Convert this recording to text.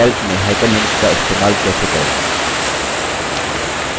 calc में hyperlinks का इस्तेमाल कैसे करें